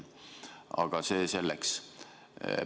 Aga see selleks.